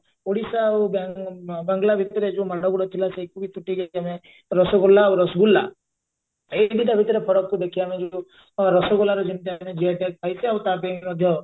ଓଡିଶା ଆଉ ବା ଅ ବାଂଲା ଭିତରେ ଯଉ ମାଡଗୋଡ ଥିଲା ଆମେ ରସଗୋଲା ଆଉ ରସଗୁଲା ଏଇ ଦିଟା ଭିତରେ ଫରକକୁ ଦେଖି ଆମେ ଯଉ ରସଗୋଲାର ଯେମିତି ଆମେ GI tag ପାଇଛେ ଆଉ ତା ପାଇଁ ମଧ୍ୟ